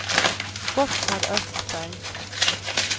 Gotthard Östberg